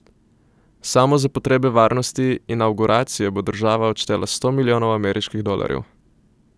Samo za potrebe varnosti inavguracije bo država odštela sto milijonov ameriških dolarjev.